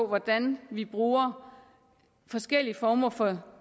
hvordan vi bruger forskellige former for